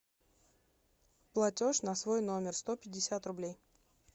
платеж на свой номер сто пятьдесят рублей